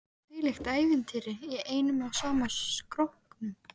Þvílíkt ævintýri í einum og sama skrokknum.